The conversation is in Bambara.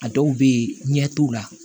A dɔw bɛ yen ɲɛ t'u la